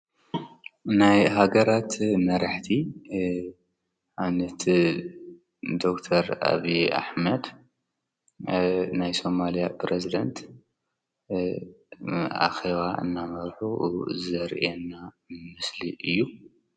ናይ ሃገራት መራሕቲ ኣነቲ ዶር ኣብ ኣሕመድ ናይ ሰማልያ ጵረዝደንት ኣኸዋ እናመርኁ ዘርየና ምስሊ እዩ።